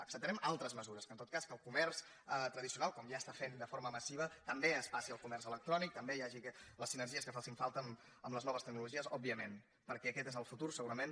acceptarem altres mesures que en tot cas el comerç tradicional com ja està fent de forma massiva també es passi al comerç electrònic també hi hagi les sinergies que facin falta amb les noves tecnologies òbviament perquè aquest és el futur segurament